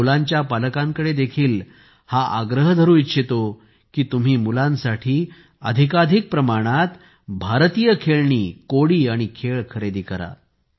मी मुलांच्या पालकांकडे देखील हा आग्रह धरू इच्छितो की तुम्ही मुलांसाठी अधिकाधिक प्रमाणात भारतीय खेळणी कोडी आणि खेळ खरेदी करा